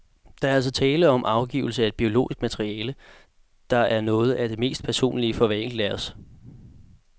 Der er altså tale om afgivelse af et biologisk materiale, der er noget af det mest personlige for hver enkelt af os.